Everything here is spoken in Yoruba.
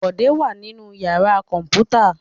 Bọ̀dé wà nínú ìyàrá kọ̀ǹpútà.